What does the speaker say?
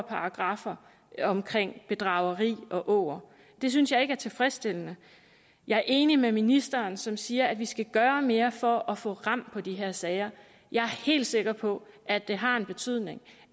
paragraffer om bedrageri og åger det synes jeg ikke er tilfredsstillende jeg er enig med ministeren som siger at vi skal gøre mere for at få ram på de her sager jeg er helt sikker på at det har en betydning